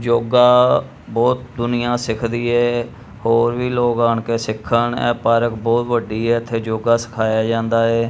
ਜੋਗਾ ਬਹੁਤ ਦੁਨੀਆ ਸਿੱਖਦੀ ਏ ਹੋਰ ਵੀ ਲੋਕ ਆਣ ਕੇ ਸਿੱਖਣ ਇਹ ਪਾਰਕ ਬਹੁਤ ਵੱਡੀ ਐ ਇੱਥੇ ਜੋਗਾ ਸਿਖਾਇਆ ਜਾਂਦਾ ਏ।